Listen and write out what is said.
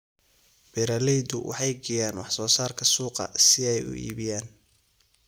Beeraleydu waxay geeyaan wax soo saarka suuqa si ay u iibiyaan.